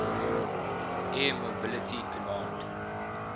air mobility command